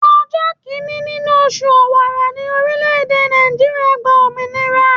Ọjọ́ kìíní nínú oṣù Ọ̀wàrà ní orílẹ̀-èdè Nàìjíríà gba òmìnira.